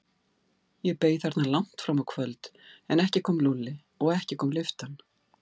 Ég beið þarna langt fram á kvöld, en ekki kom Lúlli og ekki kom lyftan.